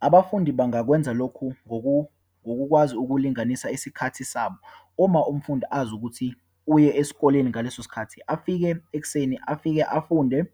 Abafundi bangakwenza lokhu ngokukwazi ukulinganisa isikhathi sabo. Uma umfundi azi ukuthi uye esikoleni ngaleso sikhathi, afike ekuseni, afike afunde,